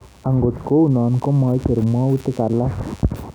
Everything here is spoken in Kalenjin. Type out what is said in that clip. Angot kou no, ko maicher mwautik alak